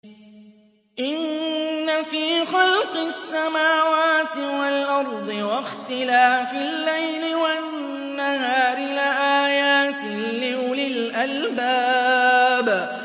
إِنَّ فِي خَلْقِ السَّمَاوَاتِ وَالْأَرْضِ وَاخْتِلَافِ اللَّيْلِ وَالنَّهَارِ لَآيَاتٍ لِّأُولِي الْأَلْبَابِ